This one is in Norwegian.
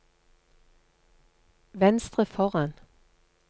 venstre foran